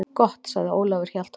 Gott, sagði Ólafur Hjaltason.